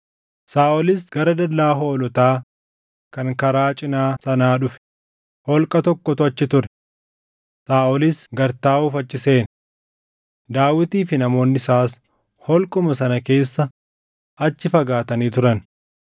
Saaʼolis gara dallaa hoolotaa kan karaa cinaa sanaa dhufe; holqa tokkotu achi ture; Saaʼolis gad taaʼuuf achi seene. Daawitii fi namoonni isaas holquma sana keessa achi fagaatanii turan.